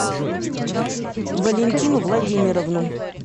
валентину владимировну